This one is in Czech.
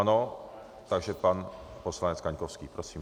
Ano, takže pan poslanec Kaňkovský, prosím.